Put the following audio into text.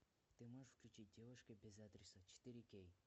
ты можешь включить девушка без адреса четыре кей